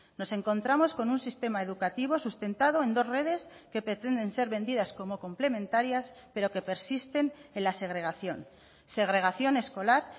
nos encontramos con un sistema educativo sustentado en dos redes que pretenden ser vendidas como complementarias pero que persisten en la segregación segregación escolar